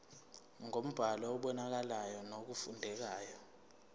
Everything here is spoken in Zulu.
ngombhalo obonakalayo nofundekayo